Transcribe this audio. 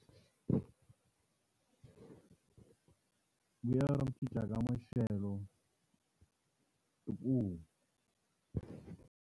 Ku ya ku cinca ka maxelo i ku.